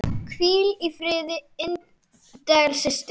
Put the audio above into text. Hvíl í friði indæl systir.